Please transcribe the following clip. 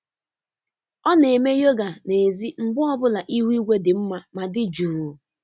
Ọ na-eme yoga nèzí mgbe ọ bụla ihu igwe dị mma ma dị jụụ.